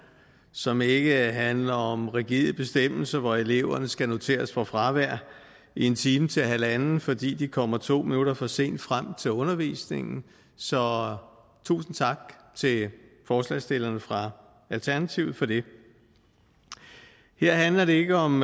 som ikke handler om rigide bestemmelser hvor eleverne skal noteres for fravær en time til halvanden fordi de kommer to minutter for sent frem til undervisningen så tusind tak til forslagsstillerne fra alternativet for det her handler det ikke om